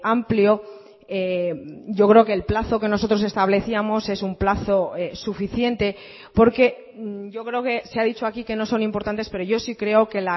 amplio yo creo que el plazo que nosotros establecíamos es un plazo suficiente porque yo creo que se ha dicho aquí que no son importantes pero yo sí creo que